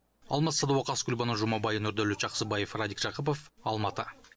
алмас садуақас гүлбану жұмабай нұрдәулет жақсыбаев радик жақыпов алматы